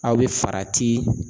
Aw bɛ farati.